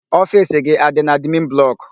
Ofiisi gị adị n'admin blọkụ?